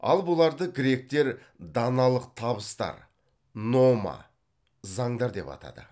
ал бұларды гректер даналық табыстар нома деп атады